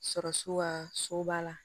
Sɔrɔ so ka so b'a la